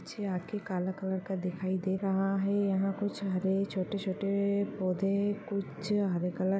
निचे आके काला कलर का दिखाई दे रहा है यहाँ कुछ हरे छोटे-छोटे ए-ए पौधे कुछ हरे क --